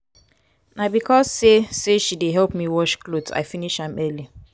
na because sey sey she dey help me wash cloth i finish am early.